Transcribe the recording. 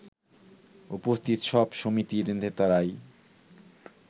উপস্থিত সব সমিতির নেতারাই